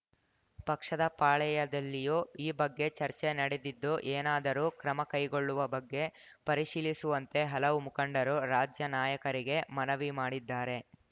ಪಕ್ಷದ ಪಾಳೆಯದಲ್ಲಿಯೂ ಈ ಬಗ್ಗೆ ಚರ್ಚೆ ನಡೆದಿದ್ದು ಏನಾದರೂ ಕ್ರಮ ಕೈಗೊಳ್ಳುವ ಬಗ್ಗೆ ಪರಿಶೀಲಿಸುವಂತೆ ಹಲವು ಮುಖಂಡರು ರಾಜ್ಯ ನಾಯಕರಿಗೆ ಮನವಿ ಮಾಡಿದ್ದಾರೆ